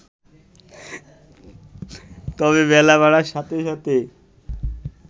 তবে বেলা বাড়ার সাথে সাথে